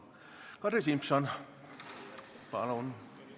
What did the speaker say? Kadri Simson, palun!